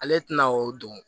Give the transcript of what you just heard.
Ale tɛna o don